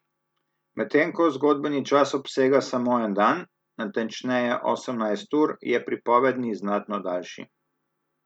Medtem ko zgodbeni čas obsega samo en dan, natančneje osemnajst ur, je pripovedni znatno daljši.